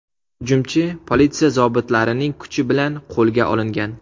Hujumchi politsiya zobitlarining kuchi bilan qo‘lga olingan.